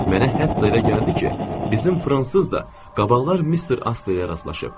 Mənə hətta elə gəldi ki, bizim fransız da qabaqlar Mister Asteyə rastlaşıb.